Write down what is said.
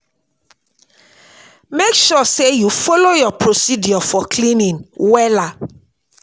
mek sure say yu follow yur procedure for cleaning wella